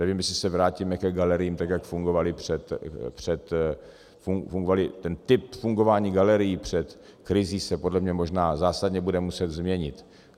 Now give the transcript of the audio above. Nevím, jestli se vrátíme ke galeriím, tak jak fungovaly před - ten typ fungování galerií před krizí se podle mě možná zásadně bude muset změnit.